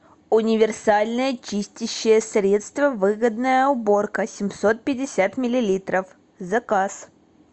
универсальное чистящее средство выгодная уборка семьсот пятьдесят миллилитров заказ